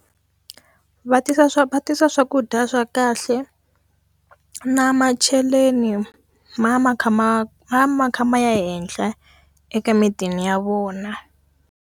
Va tisa swa va tisa swakudya swa kahle na macheleni ma ma kha ma ma kha ma ya ehenhla eka midini ya vona.